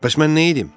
Bəs mən nə edim?